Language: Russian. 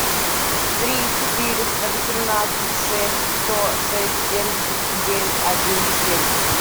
три четыреста восемнадцать шесть сто шесть семьдесят девять один семь